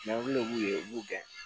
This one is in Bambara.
de b'u ye u b'u gɛn